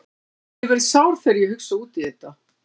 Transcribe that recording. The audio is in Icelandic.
Ég verð sár þegar ég hugsa út í þetta.